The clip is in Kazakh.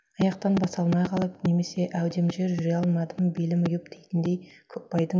аяқтан баса алмай қалып немесе әудемжер жүре алмаймын белім ұйып дейтіндей көкбайдың